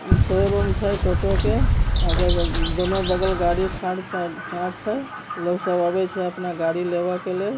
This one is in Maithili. ई शोरूम छे टोटो के अग दोनो बगल गाड़ी खड़ चा ढह छे लोग सब आवेला अपना गाड़ी लेवा के लिए।